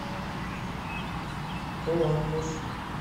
коламбус